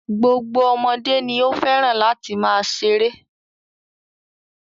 Gbogbo ọmọdé ni ó fẹ́ràn láti máa ṣeré.